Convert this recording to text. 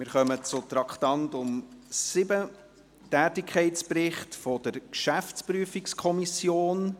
Wir kommen zum Traktandum 7, Tätigkeitsbericht der GPK.